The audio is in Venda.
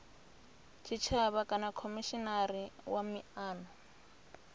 tshitshavha kana khomishinari wa miano